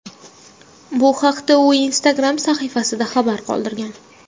Bu haqda u Instagram sahifasida xabar qoldirgan .